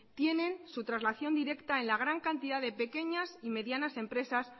tienen su trasladación directa en la gran cantidad de pequeñas y medianas empresas